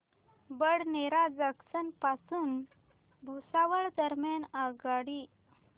Badnera junction पासून भुसावळ दरम्यान आगगाडी